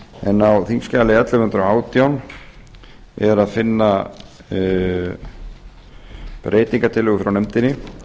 en á þingskjali ellefu hundruð og átján er að finna breytingartillögu frá nefndinni